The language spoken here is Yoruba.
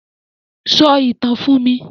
Sọ ìtàn fún mi!